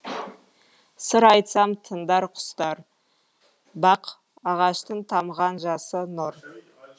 сыр айтсам тыңдар құстар бақ ағаштың тамған жасы нұр